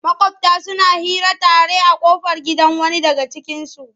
Maƙwabta suna hira tare a ƙofar gidan wani daga cikinsu.